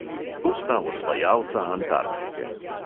To sta osvajalca antarktike.